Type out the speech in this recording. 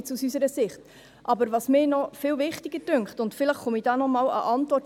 Was mich aber noch viel wichtiger dünkt, und vielleicht erhalte ich in diese Richtung auch noch eine Antwort: